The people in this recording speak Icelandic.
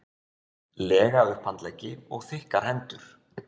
lega upphandleggi og þykkar hendur.